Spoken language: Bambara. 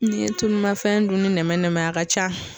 N'i ye tulu mafɛn dunni nɛmɛ nɛmɛ a ka ca